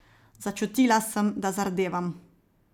Začutila sem, da zardevam.